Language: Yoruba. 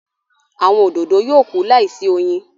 Awọn òdodo yóò kú láìsí oyin